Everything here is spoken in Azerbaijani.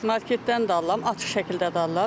Marketdən də alıram, açıq şəkildə də alıram.